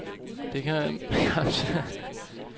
Det kan man i vore nabolande.